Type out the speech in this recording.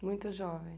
Muito jovem.